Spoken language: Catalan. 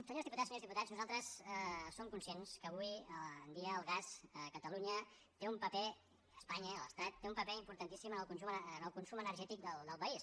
senyors diputats senyores diputades nosaltres som conscients que avui en dia el gas a catalunya té un paper a espanya a l’estat importantíssim en el consum energètic del país